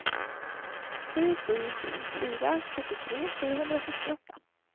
sju sju sju fyra sjuttiotre sjuhundrasextioåtta